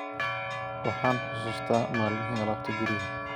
Waxaan xusuustaa maalmihii alaabta guriga